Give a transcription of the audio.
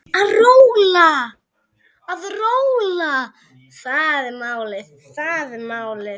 Að róla, það er málið.